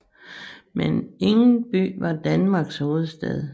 Men ingen by var Danmarks hovedstad